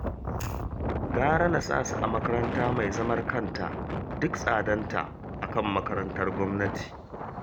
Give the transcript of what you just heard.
Gara na sa su a makaranta mai zaman kanta duk tsadarta a kan makarantar gwamnati